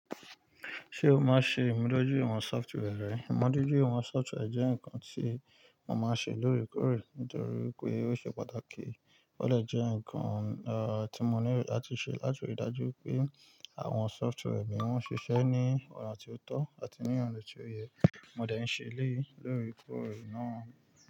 Ṣé o máa ṣe ìmúdójúìwọ̀n software rẹ? Ìmúdójúìwọ̀n software jẹ́ nǹkan tí mo máa ń ṣe lóòrèkóòrè nítorí pé ó ṣe pàtàkì. Ó lè jẹ́ nǹkan, er, tí mo nílò láti ṣe láti ríi dájú pé àwọn software mi wọ́n ṣiṣẹ́ ní ọ̀nà tí ó tọ́ àti ní ọ̀nà tí ó yẹ. Mo dẹ̀ ń ṣe eléyii lóòrèkóòrè náà.